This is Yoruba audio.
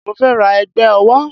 Mo fẹ́ ra ẹ̀gbà owó